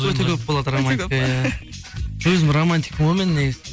өте көп болады романтика иә өзім романтикпін ғой мен негізі